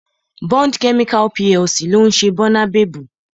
Bond Chemical PLC ló ń ṣe Bónabebu